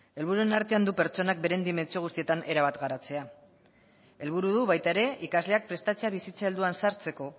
helburuen artean du pertsonek beren dimentsio guztietan erabat garatzea helburua du baita ere ikasleak prestatzea bizitza helduan sartzeko